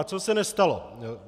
A co se nestalo?